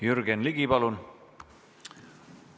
Jürgen Ligi, palun!